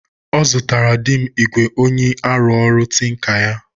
Ọzụtara dim igwe onyi arụ ọrụ tinker ya